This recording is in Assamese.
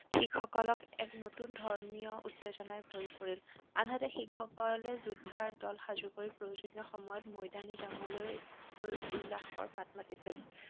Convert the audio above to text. শিখসকলক এক নতুন ধৰ্মীয় উত্তেজনাই ভৰি পৰিল। আনহাতে শিখসকলে যুদ্ধৰ দল সাজু কৰি প্ৰয়োজনীয় সময়ত মৈদানী জংগলৈ গৈ উল্লাসৰ মাত মাতিছিল।